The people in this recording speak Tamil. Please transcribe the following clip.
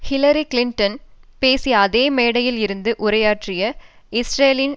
ஹில்லாரி கிளின்டன் பேசிய அதே மேடையில் இருந்து உரையாற்றிய இஸ்ரேலின்